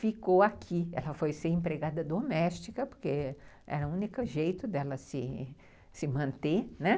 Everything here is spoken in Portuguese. Ficou aqui, ela foi ser empregada doméstica, porque era o único jeito dela se se manter, né?